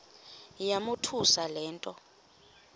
yamothusa le nto